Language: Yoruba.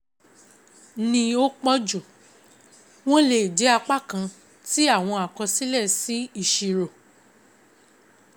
Ni ó pọ̀jù, wọ́n lè jẹ́ apá kan tí àwọn àkọsílẹ̀ si ìṣirò.